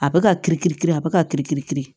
A bɛ ka kiri kiri kiri a bɛ k'a kiri kiri kiri